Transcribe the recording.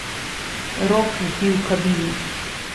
Rok ždi v kabini.